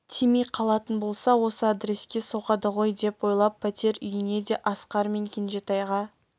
тимей қалатын болса осы адреске соғады ғой деп ойлап пәтер үйіне де асқар мен кенжетайға